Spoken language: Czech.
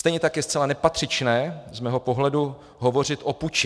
Stejně tak je zcela nepatřičné z mého pohledu hovořit o puči.